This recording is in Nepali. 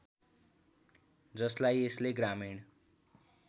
जसलाई यसले ग्रामीण